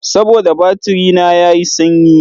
Saboda batiri na ya yi sanyi.